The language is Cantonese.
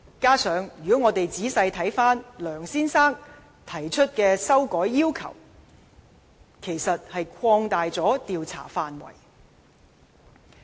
再者，如果我們仔細審視梁先生提出的修改要求，他其實是把調查範圍擴大了。